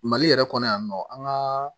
Mali yɛrɛ kɔnɔ yan nɔ an ka